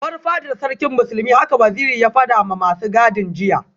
Bar fadar Sarkin Musulmi haka Waziri ya fadawa masu gadin jiya